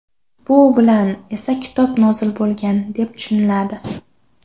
Bu bilan esa kitob nozil bo‘lgan, deb tushuniladi.